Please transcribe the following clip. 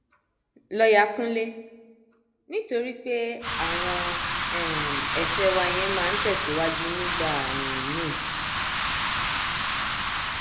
lọọyà kúnjẹ nítorí pé àwọn um ẹfẹ wa yẹn máa ń tẹsíwájú nígbà um míín